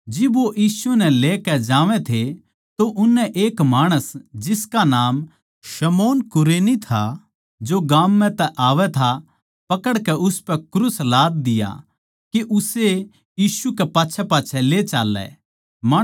जद वो यीशु नै लेकै जावै थे तो उननै एक माणस जिसका नाम शमौन कुरेनी था जो गाम म्ह तै आवै था पकड़के उसपै क्रूस लाद दिया के उस्से यीशु के पाच्छैपाच्छै ले चाल्लै